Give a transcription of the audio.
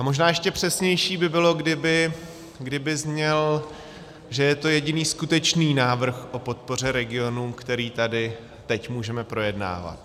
A možná ještě přesnější by bylo, kdyby zněl, že je to jediný skutečný návrh o podpoře regionů, který tady teď můžeme projednávat.